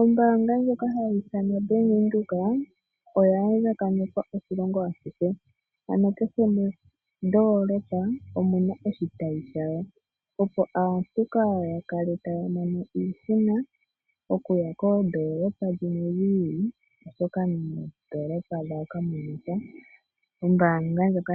Ombaanga ndjoka hayi ithanwa Bank Windhoek oya andjakanekwa oshilongo ashihe , ano kehe mondoolopa omuna oshitayi shayo , opo aantu kaaya kale taya mono iihuna okuya koondolopa dhimwe dhiili shoka mondoolopa yawo kamuna sha. Ombaanga ndjoka